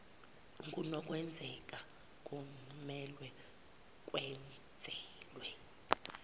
kunokwenzeka kumelwe kwenezelwe